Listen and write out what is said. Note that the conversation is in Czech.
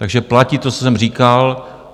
Takže platí to, co jsem říkal.